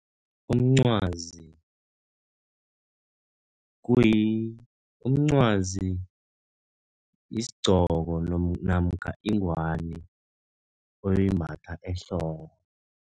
Umncwazi umncwazi yisigcoko namkha ingwani oyimbatha ehloko.